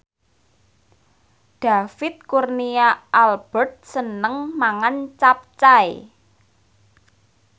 David Kurnia Albert seneng mangan capcay